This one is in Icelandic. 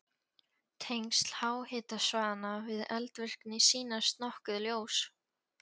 Tengsl háhitasvæðanna við eldvirkni sýnast nokkuð ljós.